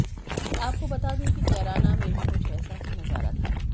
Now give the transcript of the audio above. आपको बता दें कि कैराना में भी कुछ ऐसा ही नजारा था